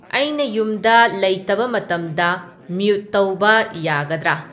ꯑꯩꯅ ꯌꯨꯝꯗ ꯂꯩꯇꯕ ꯃꯇꯝꯗ ꯃꯨꯠ ꯇꯧꯕ ꯌꯥꯒꯗ꯭ꯔꯥ